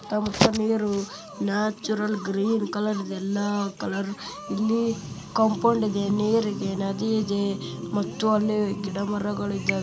ಅತ್ತಮುತ್ತ ನೀರು natural green colour ಎಲ್ಲಾ colour ಇಲ್ಲಿ ಕಂಪೌಂಡ್ ಇದೆ ನೀರಿದೆ ನದಿ ಇದೆದೆ ಮತ್ತು ಅಲ್ಲಿ ಗಿಡ ಮರಗಳಿದ್ದಾವೆ.